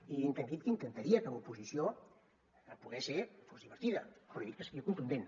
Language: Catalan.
i també he dit que intentaria que l’oposició a poder ser fos divertida però he dit que seria contundent